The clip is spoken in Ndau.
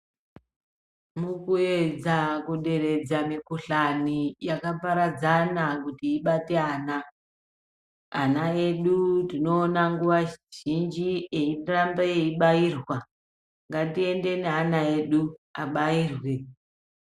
Mukuedza kuderedza mikuhlani yakaparadzana kuti ibate ana, ana edu tinoona nguva zhinji eyirambe eyibayirwa, ngatiende neana edu abayirwe.